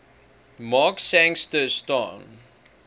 mark sangster staan